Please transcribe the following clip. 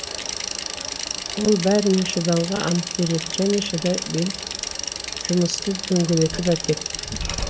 ол бәріне шыдауға ант береді және шыдай бел жұмысты дөңгелентіп әкетті